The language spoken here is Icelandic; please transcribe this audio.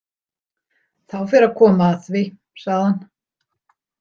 Þá fer að koma að því, sagði hann.